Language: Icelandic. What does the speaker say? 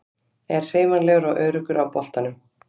Er hreyfanlegur og öruggur á boltanum.